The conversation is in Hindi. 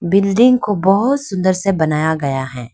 बिल्डिंग को बहोत सुंदर से बनाया गया है।